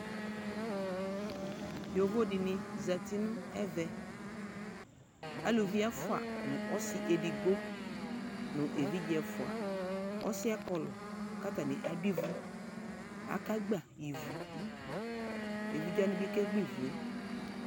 yovo dini zati nu ɛvɛ aluvi efua nu asi edigbo nu evidƶe ɛfua ɔsiɛ kɔlu k'atani k'adu ivu ake gba ivu evidze wani bi ke gba ivue